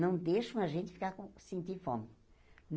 Não deixam a gente ficar com sentir fome.